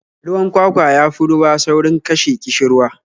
Ruwan kwakwa ya fi ruwa saurin kashe ƙishirwa